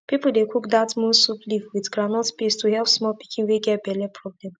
pipu dey cook dat moon soup leaf with groundnut paste to help small pikin wey get belle problem